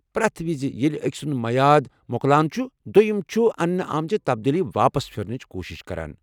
پرٮ۪تھ وِزِ ییٚلہ اكہِ سُند میعاد مۄکلان چھُ، دوٚیم چھُ اننہٕ آمژٕ تبدیلی واپس پھِرنٕچ کوشِش کران۔